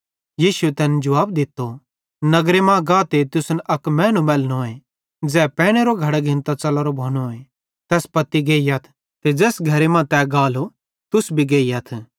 यीशुए तैन जुवाब दित्तो नगर मां गाते तुसन अक मैनू मैलनोए ज़ै पैनेरो घड़ो घिन्तां च़लोरो भोनोए तैस पत्ती गेइयथ ते ज़ैस घरे मां तै गालो तुस भी गेइयथ